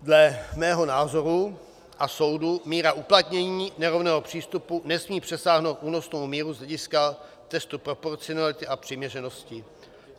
Dle mého názoru a soudu míra uplatnění nerovného přístupu nesmí přesáhnout únosnou míru z hlediska testu proporcionality a přiměřenosti.